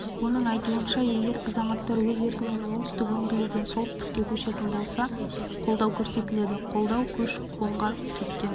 оның айтуынша егер азаматтар өз еркімен оңтүстік өңірлерден солтүстікке көшетін болса қолдау көрсетіледі қолдау көші-қонға кеткен